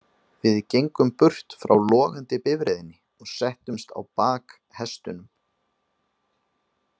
Við gengum burt frá logandi bifreiðinni og settumst á bak hestunum.